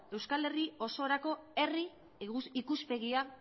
euskal herri osorako herri ikuspegia